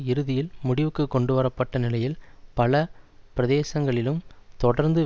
இறுதியில் முடிவுக்கு கொண்டுவர பட்ட நிலையில் பல பிரதேசங்களிலும் தொடர்ந்தும்